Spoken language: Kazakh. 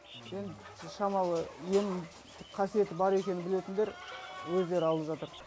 енді шамалы ем қасиеті бар екенін білетіндер өздері алып жатыр